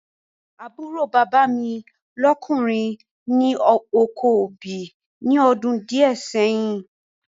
Àbúrò bàbá mi lọ́kùnrin ni oko obì ní ọdún díẹ̀ sẹ́yìn